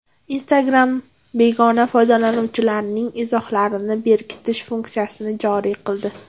Instagram begona foydalanuvchilarning izohlarini berkitish funksiyasini joriy qildi.